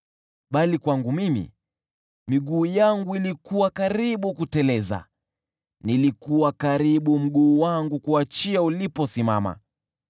Bali kwangu mimi, miguu yangu ilikuwa karibu kuteleza; nilikuwa karibu mguu wangu kuachia uliposimama.